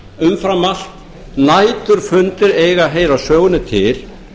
umfram allt næturfundir eiga að heyra sögunni til